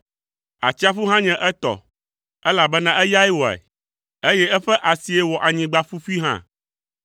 Atsiaƒu hã nye etɔ, elabena eyae wɔe, eye eƒe asie wɔ anyigba ƒuƒui hã.